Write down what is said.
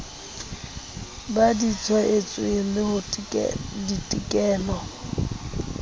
ba di tshwaetsweng le ditekolo